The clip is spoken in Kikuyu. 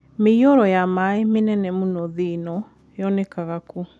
mĩiyũro ya maĩ mĩnene mũno thĩ ĩno monekanga kũ